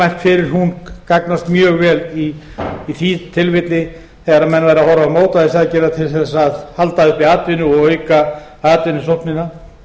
mælt fyrir hún gagnast mjög vel í því tilfelli þegar menn verða að horfa á mótvægisaðgerðir til þess að halda uppi atvinnu og auka atvinnusóknina